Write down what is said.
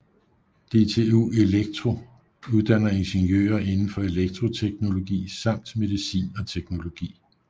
DTU Elektro uddanner ingeniører inden for elektroteknologi samt medicin og teknologi